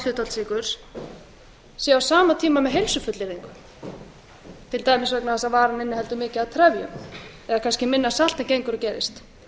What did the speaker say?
hlutfall sykurs séu á sama tíma með heilsufullyrðing til dæmis vegna þess að varan inniheldur mikið af trefjum eða kannski minna af salti en gengur og gerist